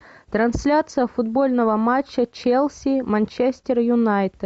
трансляция футбольного матча челси манчестер юнайтед